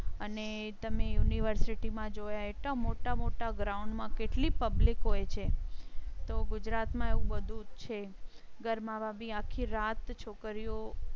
અને તમે university જોયા એટલા મોટા મોટા ground કેટલી public હોય છે તો ગુજરાતમાં એવુ બધું છે. ગરબા માં ભી આખી રાત છોકરીઓ